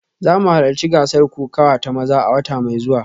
Za mu halarci gasar kokawa ta maza a wata mai zuwa